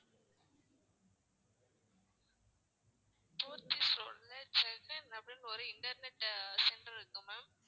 போத்தீஸ் ரோடுல சென்னை ஒரு internet center இருக்கு ma'am